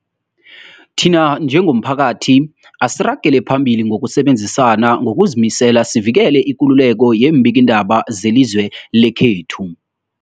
Thina njengomphakathi, asiragele phambili ngokusebenzisana ngokuzimisela sivikele ikululeko yeembikiindaba zelizwe lekhethu.